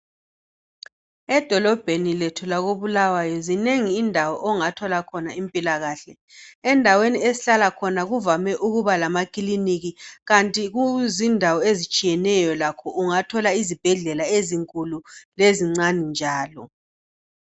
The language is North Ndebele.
Edolobheni lethu lakoBuluwayo zinengi indawo ongathola khona impilakahle endaweni esihlala khona kuvame ukuba lamakiliniki kanti kuzindawo ezitshiyeneyo lakho ungathola izibhedlela ezinkulu lezincane njalo